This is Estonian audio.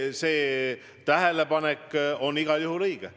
See tähelepanek on igal juhul õige.